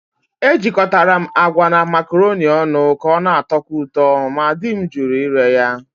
Ejikọtara m agwa na macaroni ọnụ ka ọ na-atọkwu ụtọ, ma di m jụrụ ire ya.